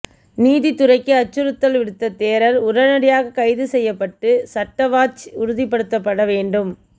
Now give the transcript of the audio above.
நீதித்துறைக்கு அச்சுறுத்தல் விடுத்த தேரர் உடனடியாக கைது செய்யப்பட்டு சட்டவாட்சி உறுதிப்படுத்தப்பட வேண்டும்